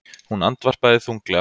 Hún andvarpaði þunglega.